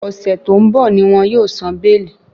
Ọ̀sẹ̀ tó ń bọ̀ ní wọn yóò san béèlì.